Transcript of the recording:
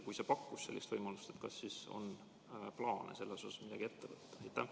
Kui pakkus, siis kas on plaane selles suhtes midagi ette võtta?